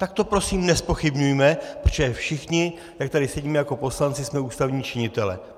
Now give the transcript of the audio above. Tak to prosím nezpochybňujme, protože všichni, jak tu sedíme jako poslanci, jsme ústavní činitelé.